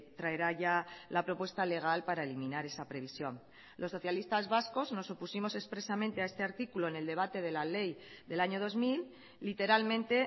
traerá ya la propuesta legal para eliminar esa previsión los socialistas vascos nos opusimos expresamente a este artículo en el debate de la ley del año dos mil literalmente